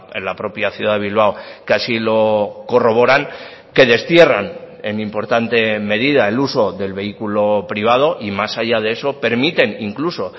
en la propia ciudad de bilbao que así lo corroboran que destierran en importante medida el uso del vehículo privado y más allá de eso permiten incluso